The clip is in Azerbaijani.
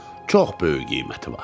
Çox böyük qiyməti var.